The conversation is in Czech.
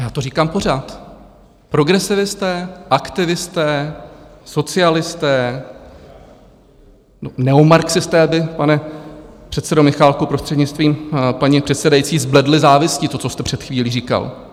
Já to říkám pořád - progresivisté, aktivisté, socialisté, neomarxisté by, pane předsedo Michálku, prostřednictvím paní předsedající, zbledli závisti, to, co jste před chvílí říkal.